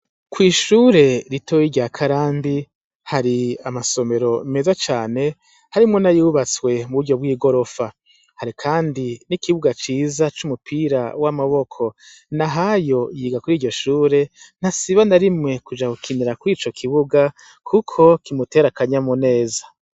Kw'ishure ritoye irya karandi hari amasomero meza cane harimwo nayubatswe mu buryo bw'igorofa hari, kandi n'ikibuga ciza c'umupira w'amaboko na hayo yiga kuri iryo shure ntasiba narimwe kuja kukinira kw ico kibuga, kuko kimuterakanya mu neza.